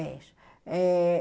É isso. Eh